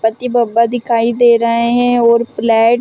पति बाप्पा दिखाई दे रहै है और प्लेट --